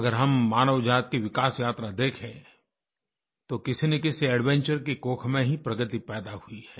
अगर हम मानव जाति की विकास यात्रा देखें तो किसीनकिसी एडवेंचर की कोख में ही प्रगति पैदा हुई है